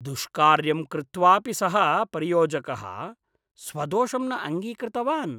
दुष्कार्यं कृत्वापि सः परियोजकः स्वदोषं न अङ्गीकृतवान्।